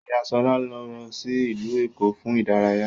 Ìyá Ṣọlá lọ sí ìlú Èkó fún ìdárayá